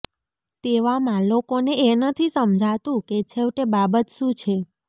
તેવામાં લોકોને એ નથી સમજાતું કે છેવટે બાબત શું છે